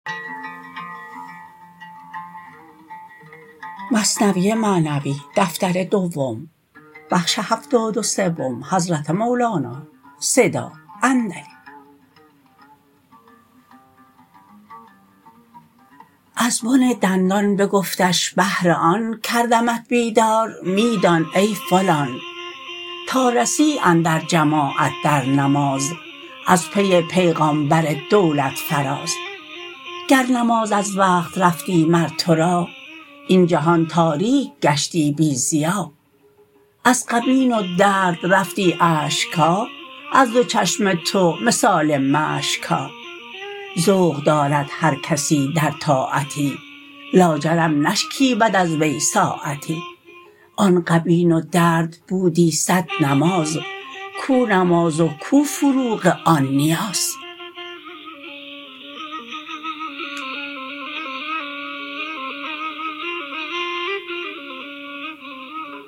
از بن دندان بگفتش بهر آن کردمت بیدار می دان ای فلان تا رسی اندر جماعت در نماز از پی پیغامبر دولت فراز گر نماز از وقت رفتی مر تو را این جهان تاریک گشتی بی ضیا از غبین و درد رفتی اشکها از دو چشم تو مثال مشکها ذوق دارد هر کسی در طاعتی لاجرم نشکیبد از وی ساعتی آن غبین و درد بودی صد نماز کو نماز و کو فروغ آن نیاز